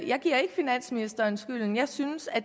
jeg giver ikke finansministeren skylden jeg synes at